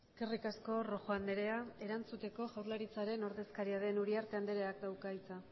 eskerrik asko rojo andrea erantzuteko jaurlaritzaren ordezkaria den uriarte andreak dauka hitza